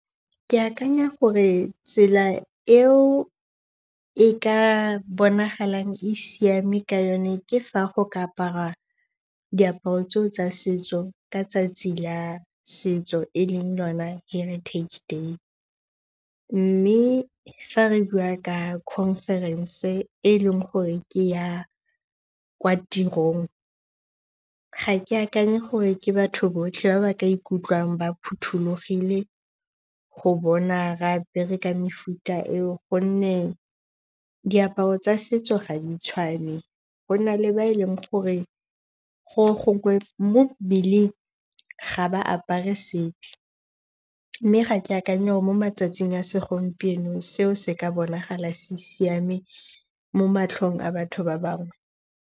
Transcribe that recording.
Ke akanya gore tsela eo e ka bonagalang e siame ka yone ke fa go ka aparwa diaparo tseo tsa setso ka tsatsi la setso e leng yona heritage day. Mme fa re bua ka conference-e e leng gore ke ya kwa tirong ga ke akanye gore ke batho botlhe ba ba ka ikutlwang ba phothulogile go bona re apere ka mefuta eo gonne diaparo tsa setso ga di tshwane. Go na le ba e leng gore mo mmeleng, ga ba apare sepe. Mme ga ke akanye gore mo matsatsing a segompieno seo se ka bonagala se siame mo matlhong a batho ba bangwe.